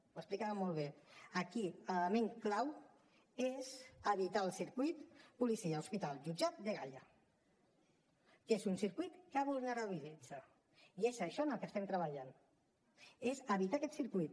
ho explicava molt bé aquí l’element clau és evitar el circuit policia hospital jutjat dgaia que és un circuit que vulnerabilitza i és en això en el que estem treballant en evitar aquest circuit